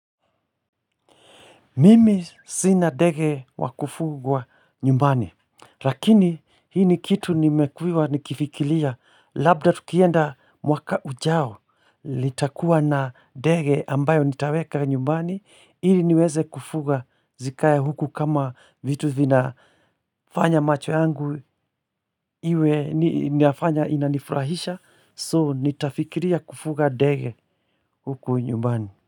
Mimi sina ndege wa kufugwa nyumbani, lakini hii ni kitu nimekuwa nikifikiria labda tukienda mwaka ujao nitakuwa na ndege ambayo nitaweka nyumbani, ili niweze kufuga zikae huku kama vitu vinafanya macho yangu iwe nafanya inanifurahisha, so nitafikiria kufuga ndege huku nyumbani.